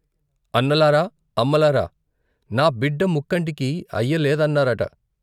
అన్నలారా అమ్మలారా నా బిడ్డ ముక్కంటికి అయ్య లేదన్నారట.